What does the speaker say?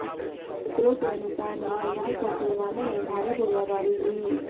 सूत्रों के अनुसार मंगलवार को पुलवामा में भारी गोलीबारी हुई